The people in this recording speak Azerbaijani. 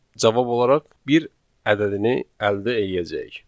cavab olaraq bir ədədini əldə eləyəcəyik.